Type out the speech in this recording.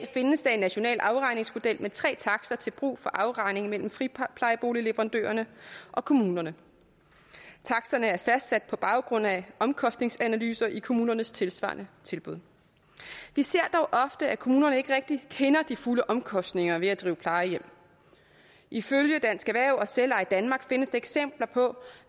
findes der en national afregningsmodel med tre takster til brug for afregningen mellem friplejeboligleverandørerne og kommunerne taksterne er fastsat på baggrund af omkostningsanalyser i kommunernes tilsvarende tilbud vi ser dog ofte at kommunerne ikke rigtig kender de fulde omkostninger ved at drive plejehjem ifølge dansk erhverv og selveje danmark findes der eksempler på